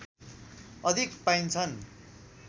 अधिक पाइन्छन्